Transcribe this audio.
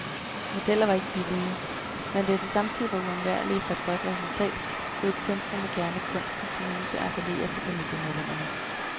Modeller var ikke billige, men da de samtidig var uundværlige for et godt resultat, lod kunstnerne gerne kunstens muse appellere til familiemedlemmerne.